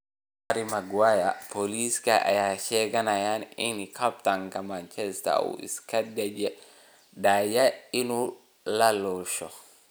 Harry Maguire: Booliska ayaa sheeganaya in kabtanka Manchester United uu isku dayay inuu laaluusho